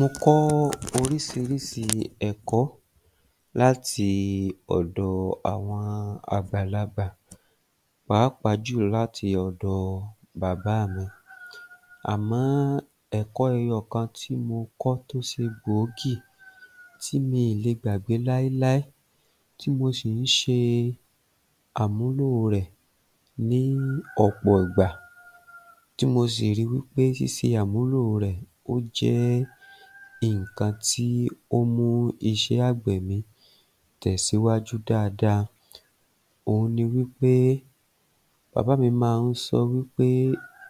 Mo kọ́ oríṣiríṣi ẹ̀kọ́ láti ọ̀dọ̀ àwọn àgbàlagbà pàápàá jù láti ọ̀dọ̀ bàbá mi, àmọ́ ẹ̀kọ́ ẹyọ kan tí mo kó tó ṣe gbòógì, tí mi ò lè gbàgbé láéláé, tí mo sì ń ṣe àmúlò rẹ̀ ní ọ̀pọ̀ ìgbà, tí mo sì rí i wípé ṣíṣe àmúlò ó jẹ́ nǹkan tí ó ń mú iṣé àgbẹ̀ mi tẹ̀síwájú dáadáa, òun ni wípé bàbà mi máa ń sọ wípé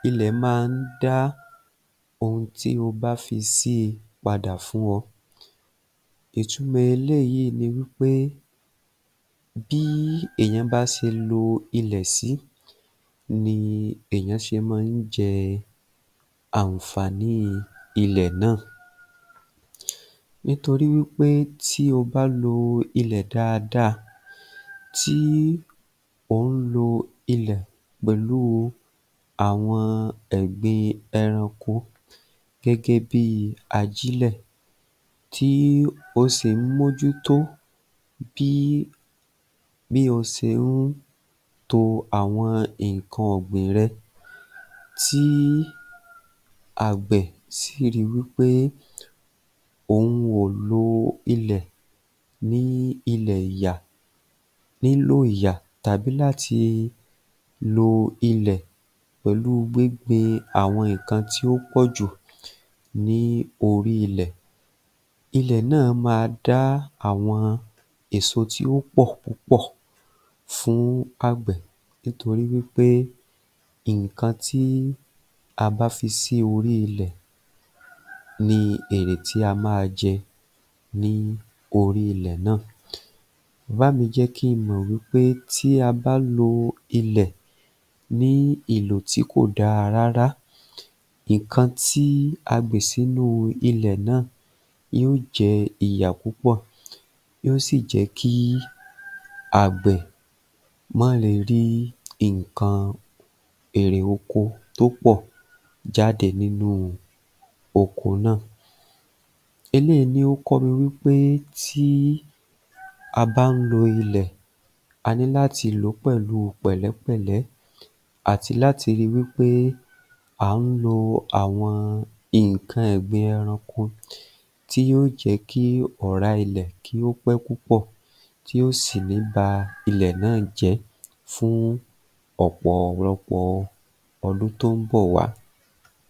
ilẹ̀ máa ń dá ohun tí o bá fi sí i padà fún ọ, ìtumọ̀ eléyìí ni wípé bí èèyàn bá ṣe lo ilẹ̀ sí ni èèyàn ṣe máa ń jẹ àǹfàní ilẹ̀ náà. Nítorí wípé tí o bá lo ilẹ̀ dáadáa tí ò ń lo ilẹ̀ pẹ̀lú àwọn ẹ̀gbin ẹranko gẹ́gẹ́ bíi ajílẹ̀, tí o sì ń mójútó bí o ṣe ń to àwọn nǹkan ọ̀gbìn rẹ, tí àgbẹ̀ sì rí i wípé òun ò lo ilẹ̀ ní ìlo ìyà, nílò ìyà tàbí láti lo ilẹ̀ pẹ̀lú gbíngbin àwọn nǹkan tí ó pọ̀ jù ní orí ilẹ̀, ilẹ̀ náà máa dá àwọn èso tí ó pọ̀ púpọ̀ fún àgbẹ̀, nítorí nǹkan tí a bá fi sí orí ilẹ̀ ní èrè tí a máa jẹ ní orí ilẹ̀ náà, bàbá mi jẹ́ kí n mọ̀ wípé tí a bá lo ilẹ̀ ní ìlò tí kò dáa rárá, nǹkan tí a gbìn sínú ilẹ̀ náá, yóò jẹ ìyà púpọ̀, yóò sì jẹ́ kí àgbẹ̀ má le rí nǹkan èrè oko tó pọ̀ jáde nínú oko náà. Eléyìí ni ó kọ́ mi wípé tí a bá ń lo ilẹ̀, a ní láti lò ó pẹ̀lú pẹ̀pẹ́pẹ̀lẹ́ àti láti rí i wípé à ń lo àwọn nǹkan ẹ̀gbin ẹranko tí yóò jẹ́ kí ọ̀rá ilẹ̀ kí ó pẹ́ púpọ̀ tí ò sì ní í ba ilẹ̀ náà jẹ́ fún ọ̀pọ̀lọpọ̀ ọdún tó ń bọ̀ wá